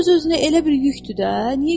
Bu öz-özünə elə bir yükdür də.